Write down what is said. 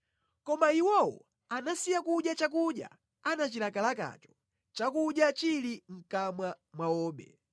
Koma iwowo anasiya kudya chakudya anachilakalakacho, chakudya chili mʼkamwa mwawobe,